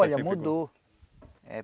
Olha, mudou. Eh